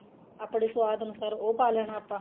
ਆਪਣੇ ਸਵਾਦ ਅਨੁਸਾਰ ਉਹ ਪਾ ਲੈਣਾ ਆਪਾਂ